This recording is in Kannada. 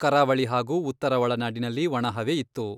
ಕರಾವಳಿ ಹಾಗೂ ಉತ್ತರ ಒಳನಾಡಿನಲ್ಲಿ ಒಣಹವೆ ಇತ್ತು.